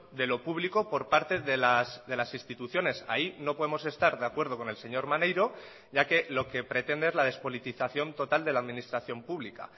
de lo público por parte de las instituciones ahí no podemos estar de acuerdo con el señor maneiro ya que lo que pretende es la despolitización total de la administración pública